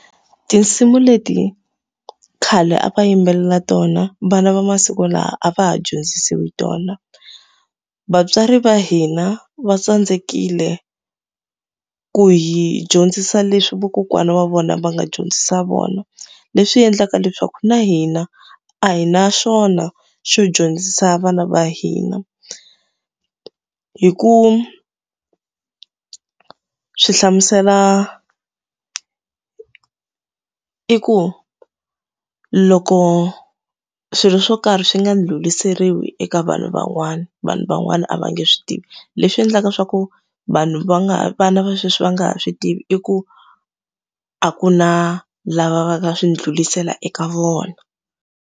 Tinsimu leti khale a va yimbelela tona, vana va masiku lawa a va ha dyondzisiwi tona. Vatswari va hina va tsandzekile ku hi dyondzisa leswi vakokwana wa vona va nga dyondzisa vona, leswi endlaka leswaku na hina a hi na xona xo dyondzisa vana va hina. Hi ku swi hlamusela i ku loko swilo swo karhi swi nga ndlhuriseriwi eka vanhu van'wana, vanhu van'wana a va nge swi tivi. Leswi endlaka swa ku vanhu va nga ha vana va sweswi va nga ha swi tivi i ku, a ku na lava va nga swi ndlhurisela eka vona.